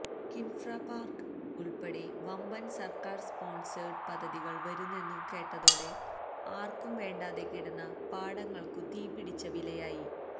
Kinfra park ഉള്പ്പെടെ വമ്പന് സര്ക്കാര് സ്പോണ്സേഡ് പദ്ധതികള് വരുന്നെന്നു കേട്ടതോടെ ആര്ക്കും വേണ്ടാതെകിടന്ന പാടങ്ങള്ക്കു തീപിടിച്ച വിലയായി